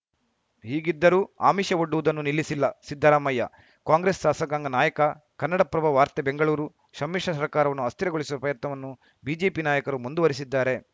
ಹೀಗಿದ್ದರೂ ಆಮಿಷವೊಡ್ಡುವುದನ್ನು ನಿಲ್ಲಿಸಿಲ್ಲಸಿದ್ದರಾಮಯ್ಯ ಕಾಂಗ್ರೆಸ್‌ ಸಾಸಕಾಂಗ ನಾಯಕ ಕನ್ನಡಪ್ರಭ ವಾರ್ತೆ ಬೆಂಗಳೂರು ಶಮ್ಮಿಶ್ರ ಸರ್ಕಾರವನ್ನು ಅಸ್ಥಿರಗೊಳಿಸುವ ಪ್ರಯತ್ನವನ್ನು ಬಿಜೆಪಿ ನಾಯಕರು ಮುಂದುವರೆಸಿದ್ದಾರೆ